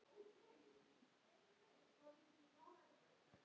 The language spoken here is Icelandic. En við munum ekkert stoppa.